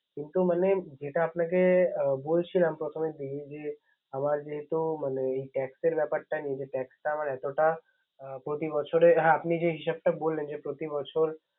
মানে যেটা বলছিলাম প্রথমেরি দিকে যে আমার যেহেতু tax ব্যাপারটা tax টা আমার এতটা প্রতিবছরের। আপনি যে হিসাবটা বললেন। প্রতি বছর